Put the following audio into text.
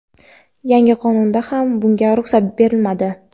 yangi qonunda ham bunga ruxsat berilmadi.